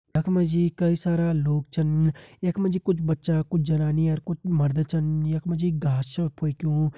यख मा जी कई सारा लोग छन यख मा जी कुछ बच्चा कुछ जनानी अर कुछ मर्द छन यख मा जी घास छ फेक्युँ।